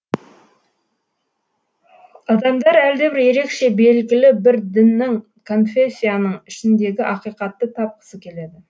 адамдар әлдебір ерекше белгілі бір діннің конфессияның еншісіндегі ақиқатты тапқысы келеді